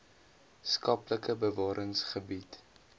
skaplike bewarings gebied